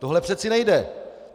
To přece nejde.